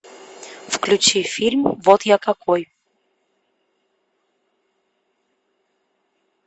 включи фильм вот я какой